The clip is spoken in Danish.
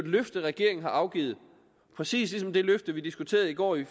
løfte regeringen har afgivet præcis ligesom det løfte vi diskuterede i går i